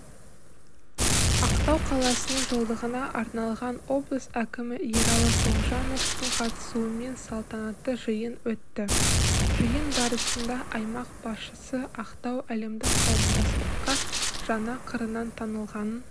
ақтау қаласының жылдығына арналған облыс әкімі ералы тоғжановтын қатысуымен салтанатты жиын өтті жиын барысында аймақ басшысыақтау әлемдік қауымдастыққа жаңа қырынан танылғанын